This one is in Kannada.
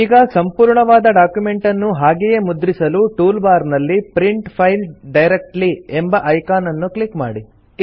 ಈಗ ಸಂಪೂರ್ಣವಾದ ಡಾಕ್ಯುಮೆಂಟನ್ನು ಹಾಗೆಯೇ ಮುದ್ರಿಸಲು ಟೂಲ್ ಬಾರ್ ನಲ್ಲಿ ಪ್ರಿಂಟ್ ಫೈಲ್ ಡೈರೆಕ್ಟ್ಲಿ ಎಂಬ ಐಕಾನ್ ಅನ್ನು ಕ್ಲಿಕ್ ಮಾಡಿ